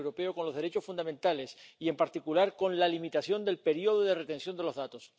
con los derechos fundamentales y, en particular, con la limitación del periodo de conservación de los datos.